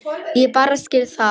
Ég bara skil það ekki.